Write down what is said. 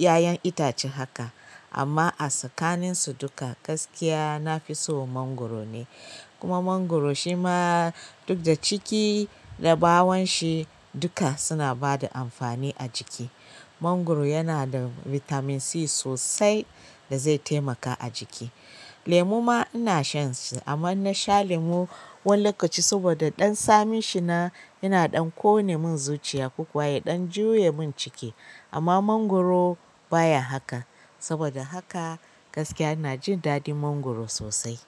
ƴaƴan itace haka. Amma a tsakanin su duka gaskiya nafi son mangwaro ne. Kuma mangwaro shi ma duk da ciki da bawon shi duka suna bada amfani a jiki. Mangwaro yana da bitamin C sosai da zai taimaka a jiki. Lemu ma ina shan shi amma in na sha lemu wani lokaci saboda ɗan tsamin shi na, yana ɗan ƙone mun zuciya ko kuwa ya ɗan juya mun ciki. Amma mangwaro baya haka saboda haka gaskiya ina jin daɗin mangwaro sosai.